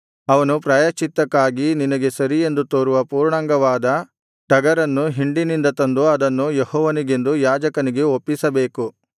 ಅವನು ಪ್ರಾಯಶ್ಚಿತ್ತಕ್ಕಾಗಿ ನಿನಗೆ ಸರಿಯೆಂದು ತೋರುವ ಪೂರ್ಣಾಂಗವಾದ ಟಗರನ್ನು ಹಿಂಡಿನಿಂದ ತಂದು ಅದನ್ನು ಯೆಹೋವನಿಗೆಂದು ಯಾಜಕನಿಗೆ ಒಪ್ಪಿಸಬೇಕು